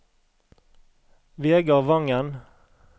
Vegar Wangen